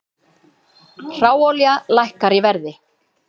Hráolía lækkar í verði